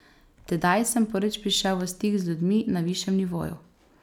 Tedaj sem prvič prišel v stik z ljudmi na višjem nivoju.